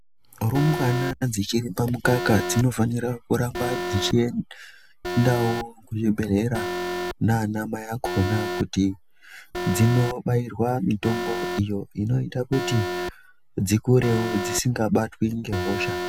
Rumbwana dzichiri pa mukaka dzino fanira kuramba dzichi endawo ku zvibhedhlera nana mai akona kuti dzino bairwa mitombo iyo inoita kuti dzikurewo dzisinga batwi nge hosha.